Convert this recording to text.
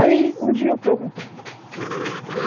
Aí, um dia eu perguntei.